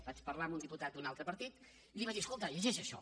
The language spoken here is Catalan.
vaig parlar amb un diputat d’un altre partit i li vaig dir escolta llegeix això